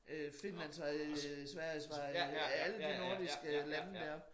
Øh Finlandsvej øh Sverigesvej øh alle de nordiske lande dér